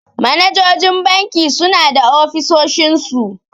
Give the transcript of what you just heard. Manajojin banki suna da ofisoshin su.